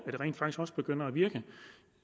rent faktisk også begynder at virke